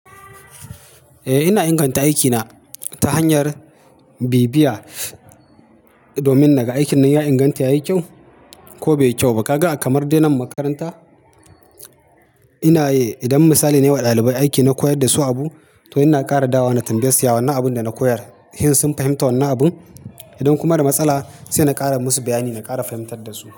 Eh ina inganta aikina ta hanyar bibiya, domin naga aikin nan ya inganta ya yi kyau ko bai yi kyau ba. Kaga a kamar dai na makaranta, ina eh idan misali nayi wa ɗalibai aiki na koyar da su abu to ina ƙara dawo na tambaye su ya wannan abun da na koyar, shin sun fahimta wannan abun? Idan kuma da matsala sai na ƙara musu bayani na ƙara fahimtar da su.